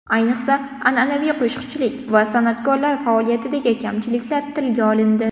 Ayniqsa, an’anaviy qo‘shiqchilik va san’atkorlar faoliyatidagi kamchiliklar tilga olindi.